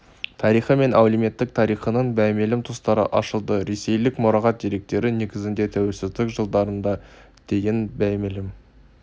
тарихы мен әлеуметтік тарихының беймәлім тұстары ашылды ресейлік мұрағат деректері негізінде тәуелсіздік жылдарына дейін беймәлім